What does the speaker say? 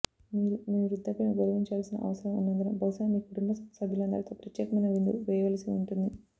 మీరు మీ వృద్ధాప్యను గౌరవించాల్సిన అవసరం ఉన్నందున బహుశా మీ కుటుంబ సభ్యులందరితో ప్రత్యేకమైన విందు వేయవలసి ఉంటుంది